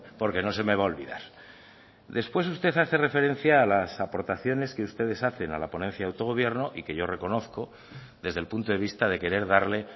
porque no se me va a olvidar después usted hace referencia a las aportaciones que ustedes hacen a la ponencia de autogobierno y que yo reconozco desde el punto de vista de querer darle